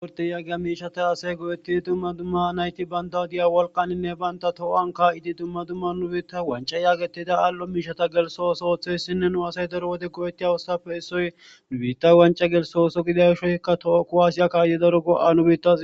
wurte yaagiya miishata asay go7ettidi dumma dumma nayti banttaw de7iya wolqaninne bantta too7an kaa7idi dumma dumma nu biitta wancca yaagettida aal7o miishata gelsso oso ooththeyssinne nu asay daro wode go7ettiya oosotappe issoy nu biitta wancca gelsso oso gidiya gisho toku aasiya kaayidi daro go7a nu biittas.